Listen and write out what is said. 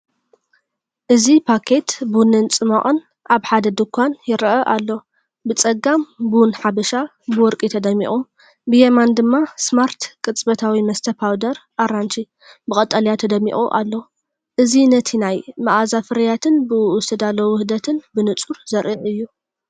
እዚ ፓኬት ቡንን ጽማቝን ኣብ ሓደ ድኳን ይረአ ኣሎ። ብጸጋም ‘ቡን ሓበሻ’ ብወርቂ ተደሚቑ፡ ብየማን ድማ ‘ስማርት ቅጽበታዊ መስተ ፓውደር – ኣራንሺ’ ብቀጠልያ ተደሚቑ ኣሎ። እዚ ነቲ ናይ መኣዛ ፍርያትን ብእኡ ዝተዳለወ ውህደትን ብንጹር ዘርኢ እዩ።